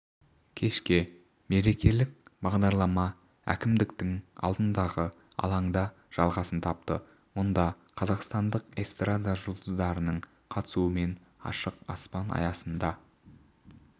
кешке мерекелік бағдарлама әкімдіктің алдындағы алаңда жалғасын тапты мұнда қазақстандық эстрада жұлдыздарының қатысуымен ашық аспан аясында